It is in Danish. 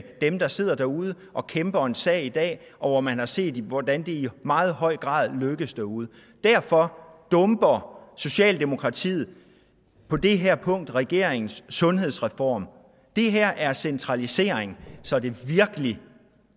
dem der sidder derude og kæmper en sag i dag og hvor man har set hvordan det i meget høj grad lykkes derude derfor dumper socialdemokratiet på det her punkt regeringens sundhedsreform det her er centralisering så det virkelig